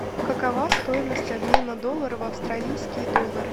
какова стоимость обмена доллара в австралийские доллары